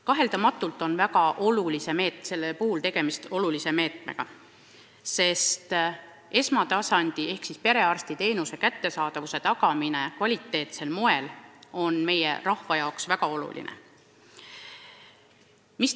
Kaheldamatult on tegemist väga olulise meetmega, sest esmatasandi ehk perearstiteenuse kvaliteetsel moel osutamine on meie rahva jaoks väga tähtis.